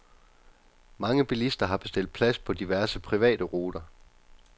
Mange bilister har bestilt plads på diverse private ruter.